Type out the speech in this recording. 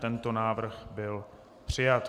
Tento návrh byl přijat.